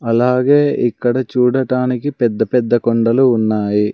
అలాగే ఇక్కడ చూడటానికి పెద్ద పెద్ద కొండలు ఉన్నాయి.